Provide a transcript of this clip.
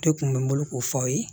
Ne kun bɛ n bolo k'o fɔ aw ye